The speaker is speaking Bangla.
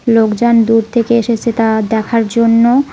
লোকজন দূর থেকে এসেছে তা দেখার জন্য।